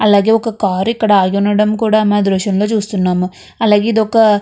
అలాగే ఒక కారు కూడా ఆగి ఉండడం మనం మీ దృశ్యంలోని చూస్తున్నాము. అలాగే ఇది ఒక --